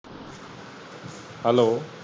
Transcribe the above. hello